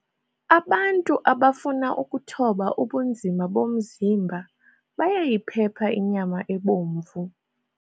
Abantu abafuna ukuthoba ubunzima bomzimba bayayiphepha inyama ebomvu.